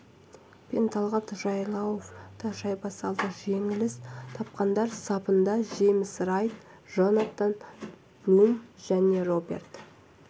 пен талғат жайлауов та шайба салды жеңіліс тапқандар сапында джеймс райт джонатан блум және роберт